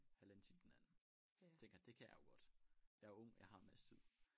Halvanden time den anden tænker det kan jeg jo godt jeg er ung jeg har masse tid